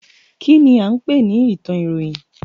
Kínní a ń pè ní ìtàn ìròyìn?